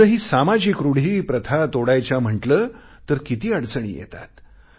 आजही सामाजिक रूढी प्रथा तोडायच्या म्हटले तर किती अडचणी येतात